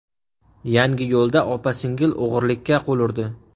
Yangiyo‘lda opa-singil o‘g‘rilikka qo‘l urdi.